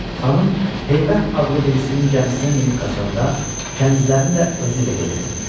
Xanım Heybət adlı birisinin gəmisinə minib qaçanda kənizlərini də özü ilə götürübmüş.